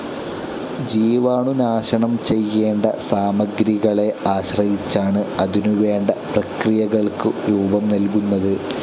ജീവാണുനാശനം ചെയ്യേണ്ട സാമഗ്രികളെ ആശ്രയിച്ചാണ് അതിനുവേണ്ട പ്രക്രിയകൾക്ക് രൂപം നൽകുന്നത്.